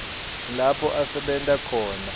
lapho asebenta khona